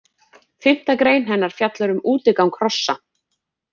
Fimmta grein hennar fjallar um útigang hrossa.